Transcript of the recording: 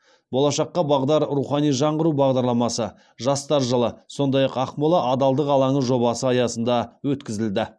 болашаққа бағдар рухани жаңғыру бағдарламасы жастар жылы сондай ақ ақмола адалдық алаңы жобасы аясында өткізілді